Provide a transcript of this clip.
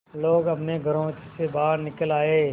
लोग अपने घरों से बाहर निकल आए